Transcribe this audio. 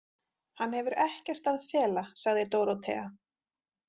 Hann hefur ekkert að fela, sagði Dórótea.